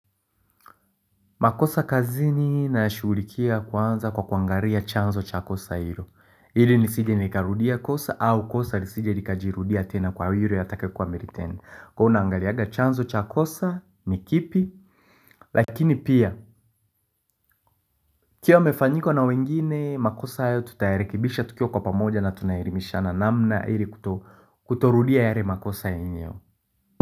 Makosa kazini nashughulikia kwanza kwa kuangalia chanzo cha kosa hilo. Ili nisije nikarudia kosa au kosa lisije likajirudia tena kwa yule atakuwa amelitenda. Kuwa unaangalianga chanzo cha kosa ni kipi, lakini pia, ikiwa yamefanyika na wengine makosa hayo tutayarekebisha tukiwa kwa pamoja na tunaelimishana namna hili kutorudia yale makosa hayo.